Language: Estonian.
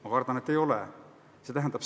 Ma kardan, et ei ole.